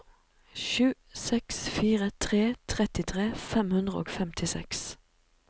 sju seks fire tre trettitre fem hundre og femtiseks